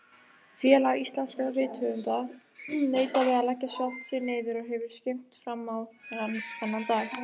Félag íslenskra rithöfunda neitaði að leggja sjálft sig niður og hefur skrimt frammá þennan dag.